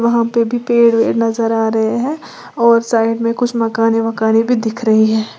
वहां पे भी पेड़ नजर आ रहे हैं और साइड में कुछ मकाने वकाने भी दिख रही है।